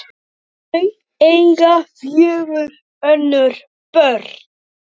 Þau eiga fjögur önnur börn.